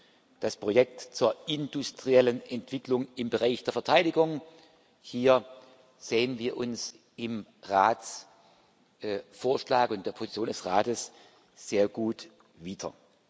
beim Projekt zur industriellen Entwicklung im Bereich der Verteidigung sehen wir uns im Ratsvorschlag und der Position des Rates sehr gut wieder.